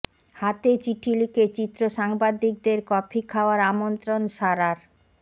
হাতে চিঠি লিখে চিত্র সাংবাদিকদের কফি খাওয়ার আমন্ত্রণ সারার